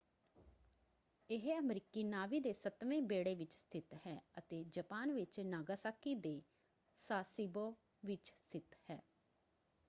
ਇਹ ਅਮਰੀਕੀ ਨਾਵੀ ਦੇ ਸੱਤਵੇਂ ਬੇੜੇ ਵਿੱਚ ਸਥਿਤ ਹੈ ਅਤੇ ਜਪਾਨ ਵਿੱਚ ਨਾਗਾਸਾਕੀ ਦੇ ਸਾਸੀਬੋ ਵਿੱਚ ਸਥਿਤ ਹੈ।